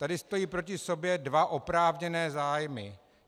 Tady stojí proto sobě dva oprávněné zájmy.